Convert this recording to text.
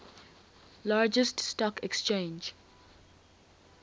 largest stock exchange